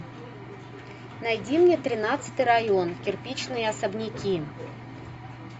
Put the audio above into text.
найди мне тринадцатый район кирпичные особняки